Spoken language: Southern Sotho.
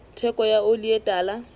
theko ya oli e tala